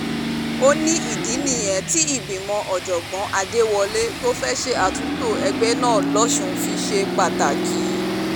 ó ní ìdí nìyẹn tí ìgbìmọ̀ ọ̀jọ̀gbọ́n adéwọlẹ̀ tó fẹ́ẹ́ ṣe àtúntò ẹgbẹ́ náà lọ́sùn fi ṣe pàtàkì